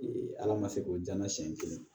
ala ma se k'o d'a ma siɲɛ kelen